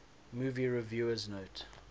movie reviewers note